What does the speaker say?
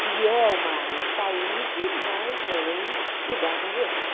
Que é uma área de saúde, mas não lidar com doente.